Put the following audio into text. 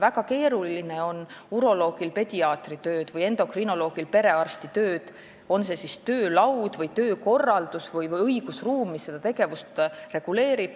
Väga keeruline on uroloogil paika panna pediaatri tööd või endokrinoloogil perearsti tööd, on jutt siis töölauast, töökorraldusest või õigusruumist, mis seda tegevust reguleerib.